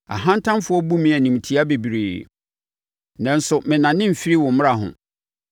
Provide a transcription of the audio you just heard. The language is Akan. Ahantanfoɔ bu me animtia bebree, nanso mennane mfiri wo mmara ho.